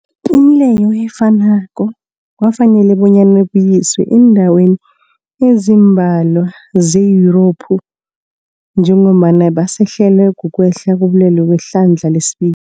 Imileyo efanako kwafanela bonyana ibuyiswe eendaweni ezimbalwa ze-Yurophu njengombana basahlelwa, kukwehla kobulwele kwehlandla lesibi